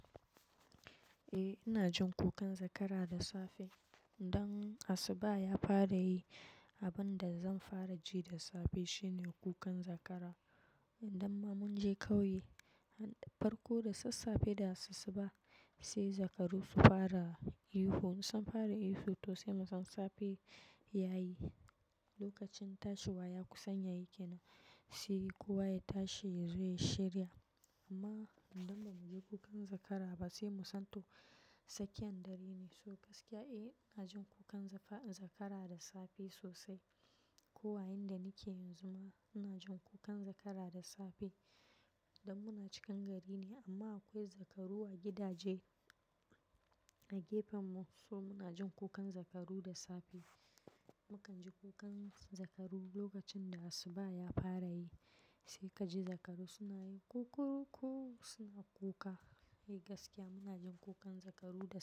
Eh, ina jin kukan zakara da safe. Dan asuba ya fara yi, abin da zan fara ji da safe shine kukan zakara. Indamma mun je kauye, farko da sassafe da asussuba sai zakaru su fara ihu. In san fara ihu, to sai mu san safe ya yi. Lokacin tashiwa ya kusan yayi kena, sai kuo wa ya tashi ya zo ya shirya. Amma idan ba mu ji kukan zakara ba sai mu san to, tsakiyar dare ne. So gaskiya eh, ina jin kukan zakara da safe sosai. Ko a inda nake yanzu ma ina jin kukan zakara da safe. Dan muna cikin gari ne amma akwai zakaru a gidaje a gefenmu so muna jin kukan zakaru da safe. Mukan ji kukan zakaru lokacin da asuba ya fara yi, sai kaji zakaru suna yin kukuruku suna kuka. Eh gaskiya muna jin kukan zakaru da safe.